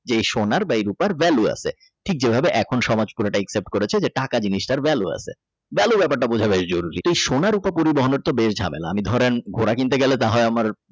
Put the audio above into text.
যে এই সোনার বা এই রুপার ভেলু আছে ঠিক যেভাবে এখন সমাজ পুরোটা Except করেছে যে টাকা জিনিসটার ভ্যালু আছে ভ্যালু ব্যাপারটা বোঝা গাইজ জরুরী তো সোনার রুপা পরিবহনের ব্যাপারটা ঝামেলা আমি ধরেন ঘোড়া কিনতে গেলে দেখায় আমার।